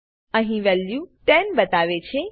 અહી વેલ્યુ 10 બતાવે છે